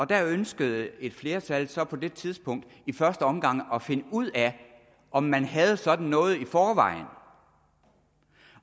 der ønskede et flertal så på det tidspunkt i første omgang at finde ud af om man havde sådan noget i forvejen